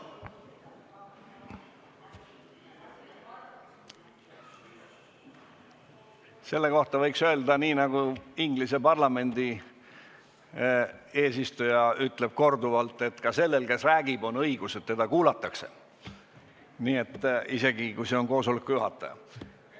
Selle kohta võiks öelda nii, nagu Inglise parlamendi eesistuja on korduvalt öelnud, et sellel, kes räägib, on õigus soovida, et teda kuulataks, isegi kui ta on koosoleku juhataja.